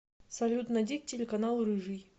салют найди телеканал рыжий